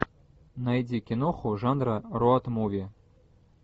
найди киноху жанра роуд муви